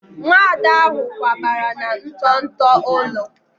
Nwada ahụ kwabara na nto nto ụlọ